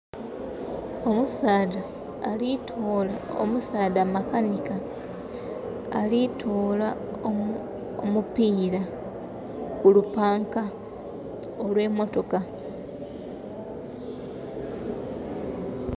Omusaadha makanika alitoola omupira kulupanka olwe motoka